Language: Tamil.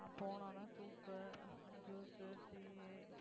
அஹ் போன உடனே soup, juice, tea